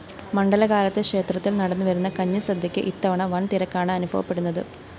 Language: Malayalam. മണ്ഡലകാലത്ത് ക്ഷേത്രത്തില്‍ നടന്നുവരുന്ന കഞ്ഞിസദ്യക്ക് ഇത്തവണ വന്‍തിരക്കാണ് അനുഭവപ്പെടുന്നത്